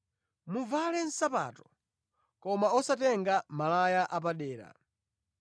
Muvale nsapato koma osatenga malaya apadera.